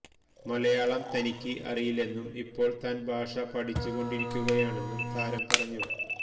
മലയാളം തനിക്ക് അറിയില്ലെന്നും ഇപ്പോള് താന് ഭാഷ പഠിച്ചുകൊണ്ടിരിക്കുകയാണെന്നും താരം പറഞ്ഞു